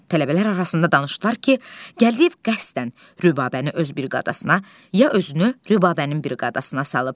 Tələbələr arasında danışırdılar ki, Gəldiyev qəsdən Rübəbəni öz briqadasına, ya özünü Rübəbənin briqadasına salıb.